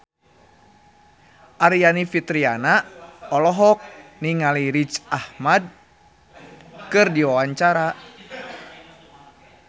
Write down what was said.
Aryani Fitriana olohok ningali Riz Ahmed keur diwawancara